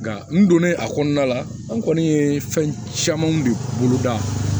Nka n donnen a kɔnɔna la an kɔni ye fɛn camanw de bolo da